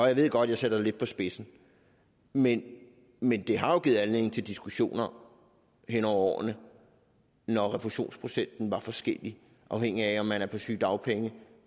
jeg ved godt at jeg sætter det lidt på spidsen men men det har jo givet anledning til diskussioner hen over årene når refusionsprocenten var forskellig afhængigt af om man er på sygedagpenge